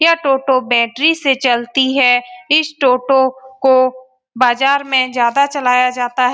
यह टोटो बैटरी से चलती है इस टोटो को बाजार में ज्यादा चलाया जाता है।